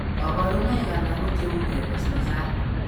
Kabarunaik alak ko cheuu ke mesmesan